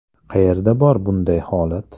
Qayerda bor bunday holat?